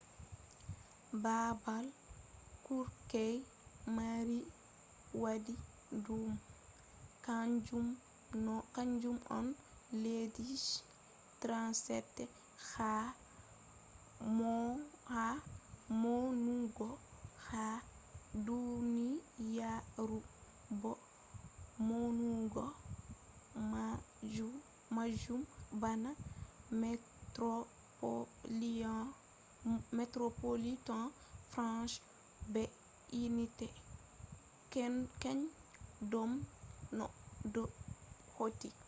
babal turkey mari wadi dum kanjum on leddi je 37 ha maunugo ha duniyaru bo maunugo majum bana metropolitan france be united kingdom on do hauti